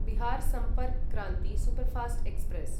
Bihar Sampark Kranti superfast express